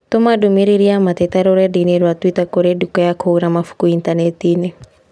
tũma ndũmīrīri ya mateta rũrenda-inī rũa tũita kũrĩ nduka ya kũgũra mabuku Intaneti-inĩ